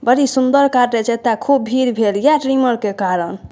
बड़ी सुंदर काटे छे एता खूब भीड़ भएलिय ट्रिमर के कारण।